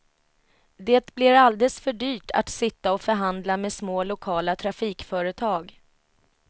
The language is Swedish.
Det blir alldeles för dyrt att sitta och förhandla med små lokala trafikföretag.